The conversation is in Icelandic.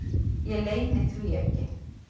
Ég leyni því ekki.